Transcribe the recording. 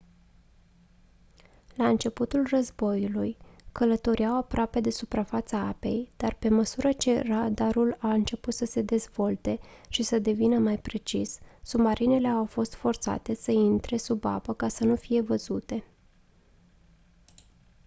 la începutul războiului călătoreau aproape de suprafața apei dar pe măsură ce radarul a început să se dezvolte și să devină mai precis submarinele au fost forțate să intre sub apă ca să nu fie văzute